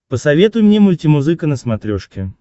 посоветуй мне мультимузыка на смотрешке